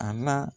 A la